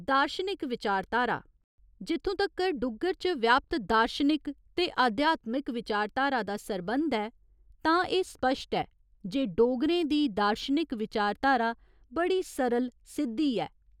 दार्शनिक विचारधारा जित्थुं तगर डुग्गर च व्यापत दार्शनिक ते आध्यात्मिक विचारधारा दा सरंबध ऐ तां एह् स्पश्ट ऐ जे डोगरें दी दार्शनिक विचारधारा बड़ी सरल सिद्धी ऐ।